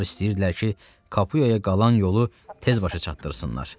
Onlar istəyirdilər ki, Kapuyaya qalan yolu tez başa çatdırsınlar.